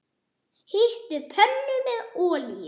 Hitið pönnu með olíu.